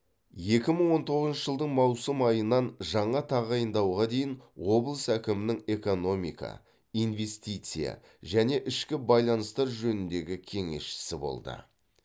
екі мың он тоғызыншы жылдың маусым айынан жаңа тағайындауға дейін облыс әкімінің экономика инвестиция және ішкі байланыстар жөніндегі кеңесшісі болды